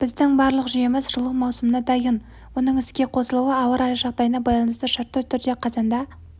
біздің барлық жүйеміз жылу маусымына дайын оның іске қосылуы ауа райы жағдайына байланысты шартты түрде қазанда